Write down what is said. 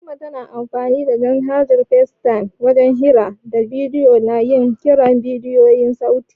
Fatiman tana amfanin da manhajar Facetime wajen hira da bidiyo da yin kiran bidiyo da sauti.